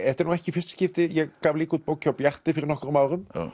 þetta er nú ekki í fyrsta skipti ég gaf líka út bók hjá Bjarti fyrir nokkrum árum